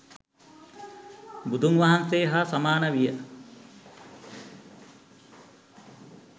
බුදුන් වහන්සේ හා සමාන විය.